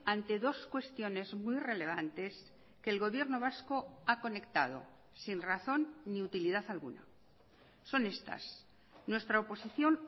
ante dos cuestiones muy relevantes que el gobierno vasco ha conectado sin razón ni utilidad alguna son estas nuestra oposición